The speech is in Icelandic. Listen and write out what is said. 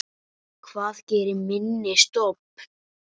Hvað gerir minni stofn?